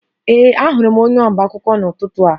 Ee, ahụrụ m onye ọba akwụkwọ n'ụtụtụ a